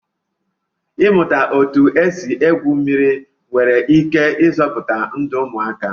Ịmụta otú e si egwu mmiri nwere ike ịzọpụta ndụ ụmụaka